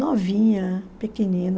Novinha, pequenina.